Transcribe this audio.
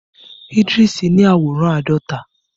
Idris ni àwòrán àádọta.